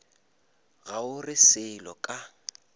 ga o re selo ka